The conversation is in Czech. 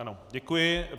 Ano, děkuji.